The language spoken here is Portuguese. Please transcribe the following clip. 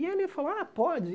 E ele falou, ah, pode.